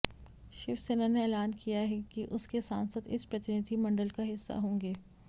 शिवसेना ने ऐलान किया है कि उसके सांसद इस प्रतिनिधि मंडल का हिस्सा होंगे